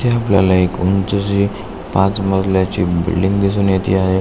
इथे आपल्याला उंच अशी पाच मजल्याची बिल्डिंग दिसून येत आहे.